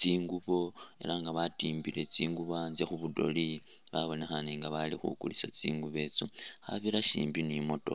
tsingubo elah nga batimbile tsingubo antse khubudole babonekhane nga balikhukulisa tsingubo itsyo, khabirasimbi ni'motokha